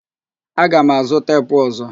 Aga mazụ teepu ọzọ